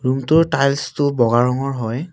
Room টোৰ tiles টো বগা ৰঙৰ হয়।